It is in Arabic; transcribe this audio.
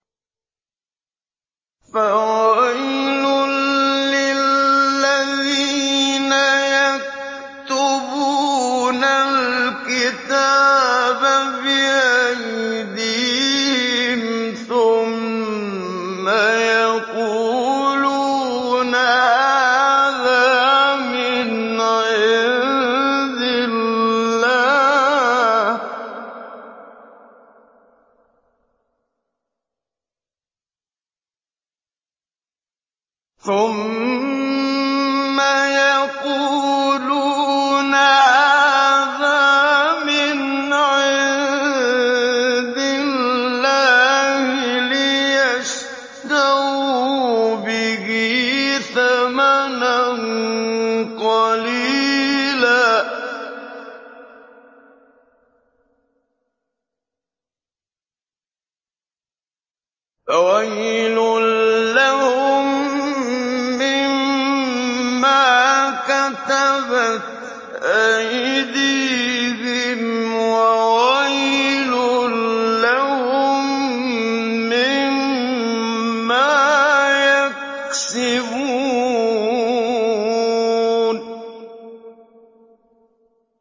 فَوَيْلٌ لِّلَّذِينَ يَكْتُبُونَ الْكِتَابَ بِأَيْدِيهِمْ ثُمَّ يَقُولُونَ هَٰذَا مِنْ عِندِ اللَّهِ لِيَشْتَرُوا بِهِ ثَمَنًا قَلِيلًا ۖ فَوَيْلٌ لَّهُم مِّمَّا كَتَبَتْ أَيْدِيهِمْ وَوَيْلٌ لَّهُم مِّمَّا يَكْسِبُونَ